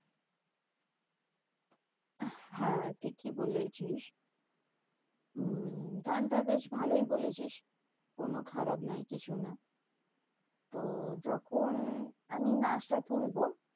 হ্যাঁ ঠিকই বলেছিস। উম গানটা বেশ ভালোই বলেছিস। কোনো খারাপ নয় কিছু না। তো যখন আমি নাচটা তুলবো